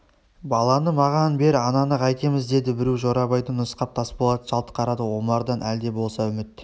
баланы маған бер ананы қайтеміз деді біреу жорабайды нұсқап тасболат жалт қарады омардан әлде болса үміт